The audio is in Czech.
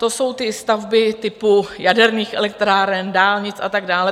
To jsou ty stavby typu jaderných elektráren, dálnic a tak dále.